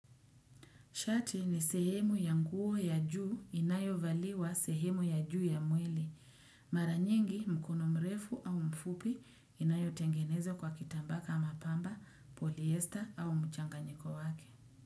Shati ni sehemu ya nguo ya juu inayovaliwa sehemu ya juu ya mwili. Mara nyingi mkono mrefu au mfupi inayotengenezwa kwa kitambaa kama pamba, polyester au mchanganyiko wake.